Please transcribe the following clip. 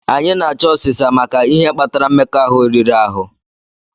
Anyị na-achọ ọsisa maka ihe kpatara mmekọahụ riri ahụ.